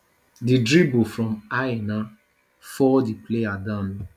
di drible from aina fall di player down